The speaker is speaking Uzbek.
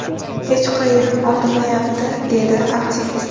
Hech qayerim og‘rimayapti”, dedi aktivist.